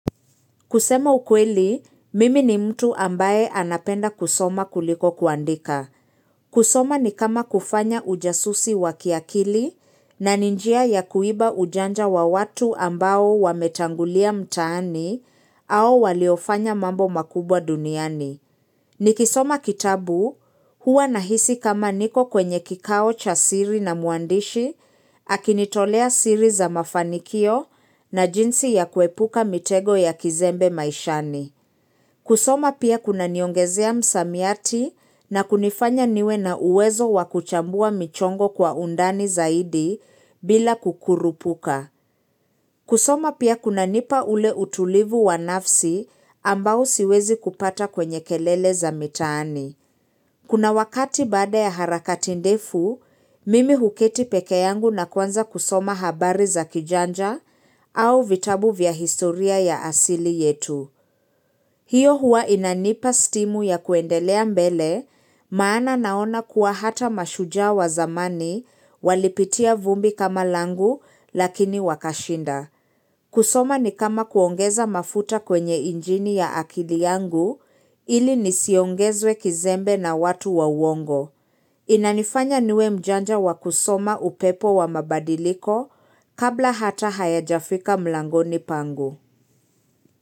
Kusema ukweli, mimi ni mtu ambaye anapenda kusoma kuliko kuandika. Kusoma ni kama kufanya ujasusi wakiakili na ni njia ya kuiba ujanja wa watu ambao wametangulia mtaani au waliofanya mambo makubwa duniani. Ni kisoma kitabu huwa nahisi kama niko kwenye kikao cha siri na muandishi, akinitolea siri za mafanikio na jinsi ya kuepuka mitego ya kizembe maishani. Kusoma pia kuna niongezea msamiati na kunifanya niwe na uwezo wakuchambua michongo kwa undani zaidi bila kukurupuka. Kusoma pia kuna nipa ule utulivu wa nafsi ambao siwezi kupata kwenye kelele za mitaani. Kuna wakati baada ya harakati ndefu, mimi huketi pekee yangu na kuanza kusoma habari za kijanja au vitabu vya historia ya asili yetu. Hiyo huwa inanipa stimu ya kuendelea mbele, maana naona kuwa hata mashujaa wa zamani walipitia vumbi kama langu lakini wakashinda. Kusoma ni kama kuongeza mafuta kwenye injini ya akili yangu ili nisiongezwe kizembe na watu wa uongo. Inanifanya niwe mjanja wakusoma upepo wa mabadiliko kabla hata haya jafika mlangoni pangu.